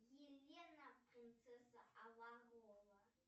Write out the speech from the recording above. елена принцесса авалора